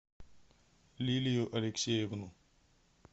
лилию алексеевну